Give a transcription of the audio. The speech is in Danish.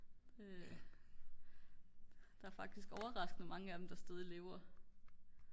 der er faktisk overraskende mange af dem der stadig lever